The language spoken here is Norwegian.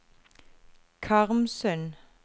Karmsund